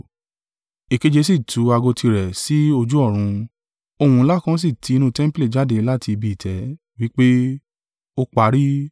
Èkeje si tú ago tirẹ̀ sí ojú ọ̀run; ohùn ńlá kan sì ti inú tẹmpili jáde láti ibi ìtẹ́, wí pé, “Ó parí!”